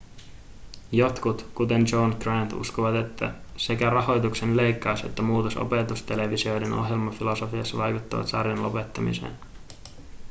jotkut kuten john grant uskovat että sekä rahoituksen leikkaus että muutos opetustelevisioiden ohjelmafilosofiassa vaikuttivat sarjan lopettamiseen